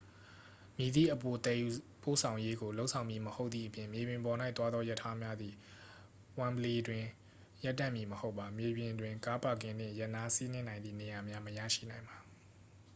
မည်သည့်အပိုသယ်ယူပို့ဆောင်ရေးကို လုပ်ဆောင်မည်မဟုတ်သည့်အပြင် မြေပြင်ပေါ်၌သွားသောရထားများသည် wembley တွင် ရပ်တန့်မည်မဟုတ်ပါ မြေပြင်တွင် ကားပါကင်နှင့် ရပ်နားစီးနင်းနိုင်သည့်နေရာများ မရရှိနိုင်ပါ